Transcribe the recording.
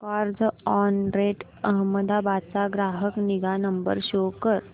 Carzonrent Ahmedabad चा ग्राहक निगा नंबर शो कर